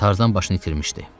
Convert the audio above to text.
Tarzan başını itirmişdi.